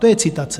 To je citace.